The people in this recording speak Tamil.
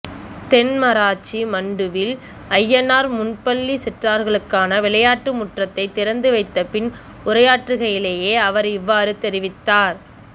தென்மராட்சி மண்டுவில் ஐயனார் முன்பள்ளி சிறார்களுக்கான விளையாட்டு முற்றத்தை திறந்து வைத்தபின் உரையாற்றுகையிலேயே அவர் இவ்வாறு தெரிவித்தார்